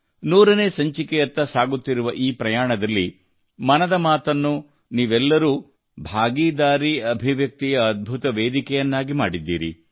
ನೂರನೇ ಸಂಚಿಕೆಯತ್ತ ಸಾಗುತ್ತಿರುವ ಈ ಪ್ರಯಾಣದಲ್ಲಿ ಮನದ ಮಾತನ್ನು ನೀವೆಲ್ಲರೂ ಜನಭಾಗಿದಾ ಅಭಿವ್ಯಕ್ತಿಯ ಅದ್ಭುತ ವೇದಿಕೆಯನ್ನಾಗಿ ಮಾಡಿದ್ದೀರಿ